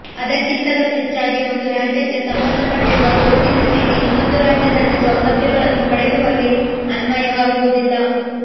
ಅದಕ್ಕಿಂತಲೂ ಹೆಚ್ಚಾಗಿ ಒಂದು ರಾಜ್ಯಕ್ಕೆ ಸಂಬಂಧಪಟ್ಟಿರುವ ಗುರುತಿನ ಚೀಟಿ ಇನ್ನೊಂದು ರಾಜ್ಯದಲ್ಲಿ ಸೌಲಭ್ಯಗಳನ್ನು ಪಡೆಯುವಲ್ಲಿ ಅನ್ವಯವಾಗುವುದಿಲ್ಲ